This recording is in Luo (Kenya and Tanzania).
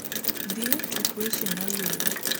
dhie tuk weche maluo